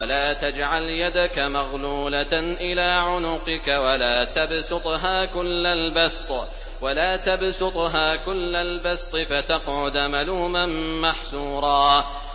وَلَا تَجْعَلْ يَدَكَ مَغْلُولَةً إِلَىٰ عُنُقِكَ وَلَا تَبْسُطْهَا كُلَّ الْبَسْطِ فَتَقْعُدَ مَلُومًا مَّحْسُورًا